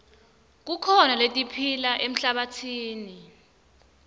kukhona letiphila emhlabatsini